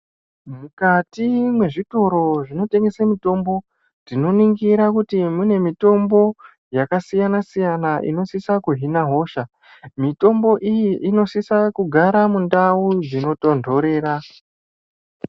Mukati mwezvitoro zvinotengese mitombo, tinoningira kuti mune mitombo yakasiyana-siyana inosisa kuhina hosha. Mitombo iyi inosisa kugara mundau dzinotontorera.